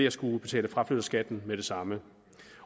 at skulle betale fraflytterskatten med det samme